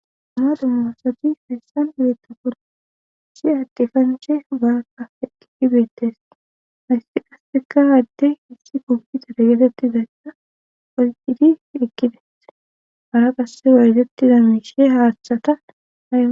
amaru moosati heessan uletta kon si hadde kanche baaka eeibeettees haysi qasseka hadde hissi kompitar getettidayssa okidi ekides hara qasse wayzettiza miishe haaththataa